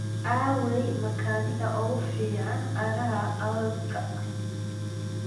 Aaway makaanigga ugu fiican aagga hawdka?